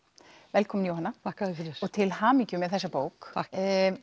velkomin Jóhanna þakka þér fyrir og til hamingju með þessa bók takk